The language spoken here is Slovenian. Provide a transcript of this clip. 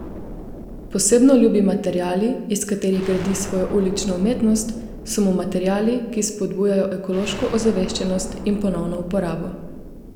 Posebno ljubi materiali, iz katerih gradi svojo ulično umetnost, so mu materiali, ki spodbujajo ekološko ozaveščenost in ponovno uporabo.